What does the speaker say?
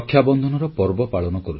• OBC ଆୟୋଗ ଗଠନ ଏକ ମାଇଲଖୁଣ୍ଟ